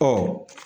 Ɔ